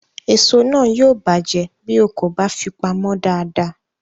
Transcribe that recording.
Èso náà yóò bàjẹ́ bí o kò bá fi pamọ́ dáadáa